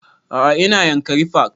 A'a ina yankari park